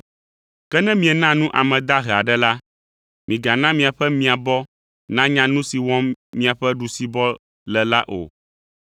Ke ne miena nu ame dahe aɖe la, migana miaƒe miabɔ nanya nu si wɔm miaƒe ɖusibɔ le la o,